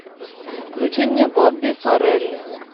включи мне бобби фаррелли